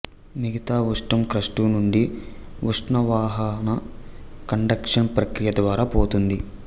మిగతా ఉష్ణం క్రస్టు నుండి ఉష్ణవాహన కండక్షన్ ప్రక్రియ ద్వారా పోతుంది